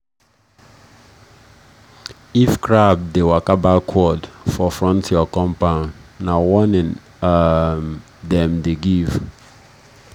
if crab dey waka backward for front your compound na warning um dem dey give.